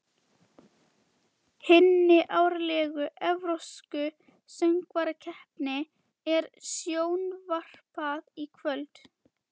Hinni árlegu evrópsku söngvakeppni er sjónvarpað í kvöld.